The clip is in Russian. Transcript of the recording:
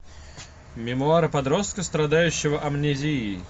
мемуары подростка страдающего амнезией